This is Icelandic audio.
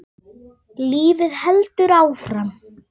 Okkur gekk vel inn ósinn.